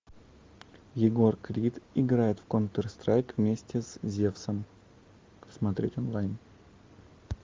егор крид играет в контр страйк вместе с зевсом смотреть онлайн